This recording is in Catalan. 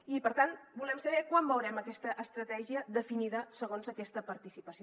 i per tant volem saber quan veurem aquesta estratègia definida segons aquesta participació